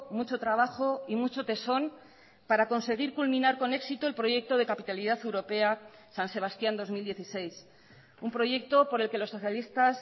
mucho trabajo y mucho tesón para conseguir culminar con éxito el proyecto de capitalidad europea san sebastián dos mil dieciséis un proyecto por el que los socialistas